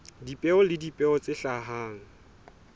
dipeo le dipeo tse hlahang